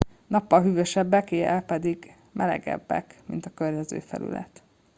nappal hűvösebbek éjjel pedig melegebbek mint a környező felület